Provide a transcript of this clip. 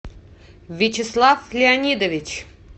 вячеслав леонидович